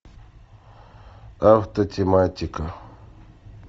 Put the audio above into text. автотематика